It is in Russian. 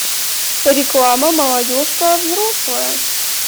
реклама молодежка взрослая